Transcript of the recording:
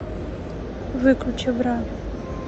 выключи бра